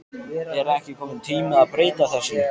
Er ekki kominn tími að breyta þessu?